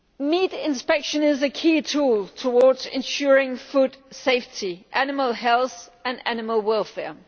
Meat inspection is a key tool towards ensuring food safety, animal health and animal welfare.